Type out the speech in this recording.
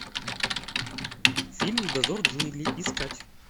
фильм дозор джунглей искать